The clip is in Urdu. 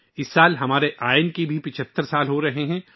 اس سال ہمارا دستور بھی 75 سال مکمل کر رہا ہے